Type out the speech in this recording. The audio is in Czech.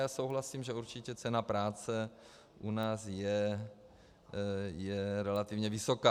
Já souhlasím, že určitě cena práce u nás je relativně vysoká.